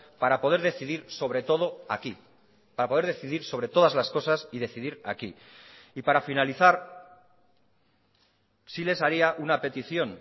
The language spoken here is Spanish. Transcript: para poder decidir sobre todo aquí para poder decidir sobre todas las cosas y decidir aquí y para finalizar sí les haría una petición